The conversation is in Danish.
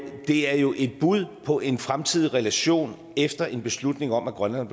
er jo et bud på en fremtidig relation efter en beslutning om at grønland